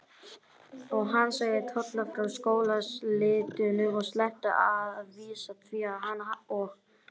Og hann sagði Tolla frá skólaslitunum, en sleppti að vísu því að hann og